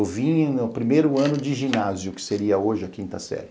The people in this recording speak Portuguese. Eu vim no primeiro ano de ginásio, que seria hoje a quinta série.